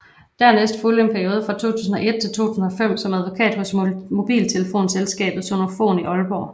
Dernæst fulgte en periode fra 2001 til 2005 som advokat hos mobiltelefonselskabet Sonofon i Aalborg